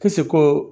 ko